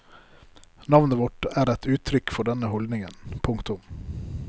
Navnet vårt er et uttrykk for denne holdningen. punktum